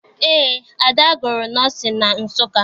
Eé, Ada gụrụ nọọsịn na Nsụka